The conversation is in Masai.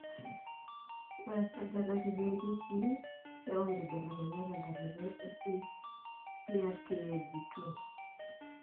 Ore esajata kiti oorkesii keyau inkibelekenyat tentalipa ePRKAG2.